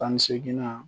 Tan ni seeginna